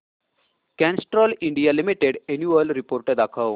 Castrol India Limited annual report दाखव